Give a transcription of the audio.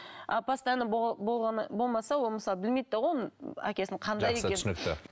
а постоянно болмаса ол мысалы білмейді де ғой оны әкесінің жақсы түсінікті